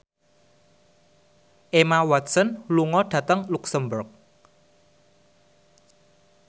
Emma Watson lunga dhateng luxemburg